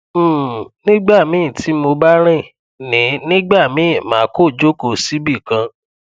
um nigbamii ti mo ba rin ni nigbamii ma ko joko sibikan